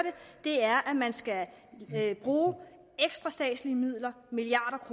det er at man skal bruge ekstra statslige midler milliarder af